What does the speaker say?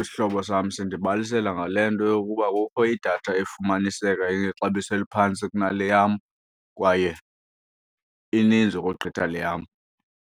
isihlobo sam sindibalisela ngale nto yokuba kukho idatha efumaniseka inexabiso eliphantsi kunale yam kwaye ininzi ukogqitha le yam.